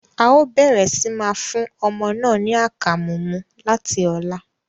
Ao bẹrẹ si máa fún ọmọ náà ní akamu mú láti ọlá